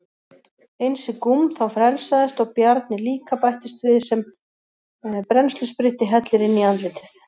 Einsi Gúm þá frelsaðist og Bjarni líka bættist við sem brennsluspritti hellir inn í andlitið.